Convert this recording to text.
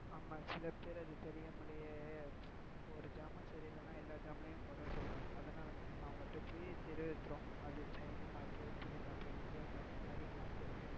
ஆமா சில பேர் அது தெரியாமலே ஒரு ஜாமான் சரியிலான எல்லா ஜாமான்லயும் குறை சொல்ராங்க அதுனால தான் நம்ம அவங்ககிட்ட போய் அது China mop புலி mop இந்தியன் mop நிறய mop இருக்கு.